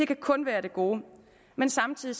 kan kun være af det gode men samtidig